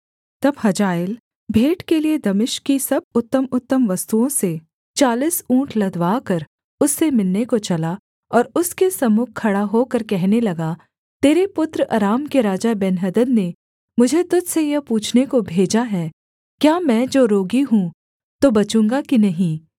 तब हजाएल भेंट के लिये दमिश्क की सब उत्तमउत्तम वस्तुओं से चालीस ऊँट लदवाकर उससे मिलने को चला और उसके सम्मुख खड़ा होकर कहने लगा तेरे पुत्र अराम के राजा बेन्हदद ने मुझे तुझ से यह पूछने को भेजा है क्या मैं जो रोगी हूँ तो बचूँगा कि नहीं